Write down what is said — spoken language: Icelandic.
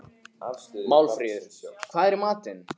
Málfríður, hvað er í matinn?